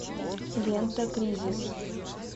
лента кризис